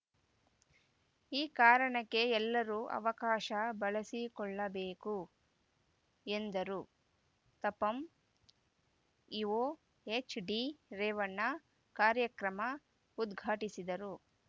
ಈ ಕಾರಣಕ್ಕೆ ಎಲ್ಲರೂ ಅವಕಾಶ ಬಳಸಿಕೊಳ್ಳಬೇಕು ಎಂದರು ತಾಪಂ ಇಒ ಎಚ್‌ಡಿರೇವಣ್ಣ ಕಾರ್ಯಕ್ರಮ ಉದ್ಘಾಟಿಸಿದರು